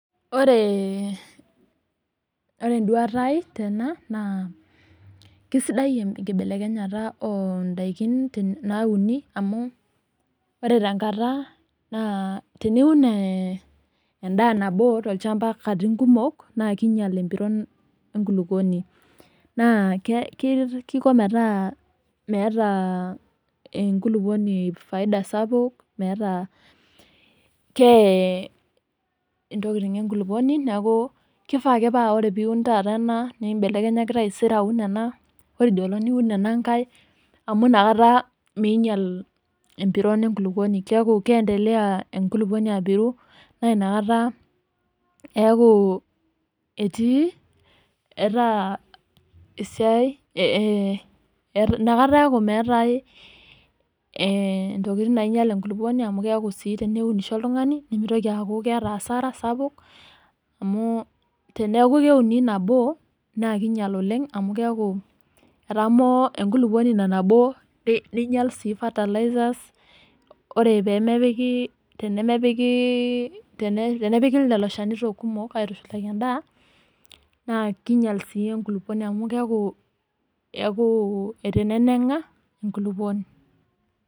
Oreee, ore eduaata aai tena, naa kisidai ekibelekenyata oo daikini naauni amu ore tenkata naa teniun eeh endaa nabo tolshamba nkatitin kumok naa kinyal empiron ekulupuoni naa kiko meetaa meeta ekulupuoni faifa sapuk metaa keeye intokitin ekulupuoni neeku kifaa ake paa ore ake piun taata ena neibelekenyaki taisere aun ena ore idio olong niun ena nkae, amu nakata miinyal empiron ekulupuoni keeku keendelea ekulupuoni apirru naa ina kata eeku etii, eeta esiai eeh nakata eeku meetae ee ntokitin nainyal ekulupuoni amu keeku sii teneunisho oltungani nemitoki aaku keeta hasara sapuk amu teneeku keeuni nabo naa kinyal oleng amu keeku etamoo ekulupuoni ina nabo ninyal sii fertilizers ore tenemepiki ii tenepiki lelo shanito kumok aitushulaki endaa naa kinyal sii ekulupuoni amuu keeku itenenenga ekulupuoni.